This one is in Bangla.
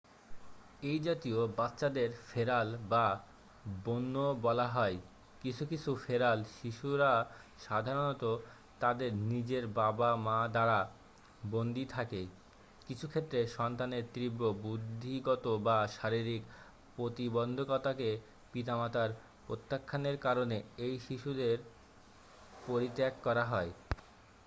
"""এই জাতীয় বাচ্চাদের" "ফেরাল" "বা বন্য বলা হয়। কিছু কিছু "ফেরাল" শিশুরা সাধারণত তাদের নিজের বাবা-মা দ্বারা বন্দি থাকে; কিছু ক্ষেত্রে সন্তানের তীব্র বুদ্ধিগত বা শারীরিক প্রতিবন্ধকতাকে পিতামাতার প্রত্যাখ্যানের কারণে এই শিশুদের পরিত্যাগ করা হয় "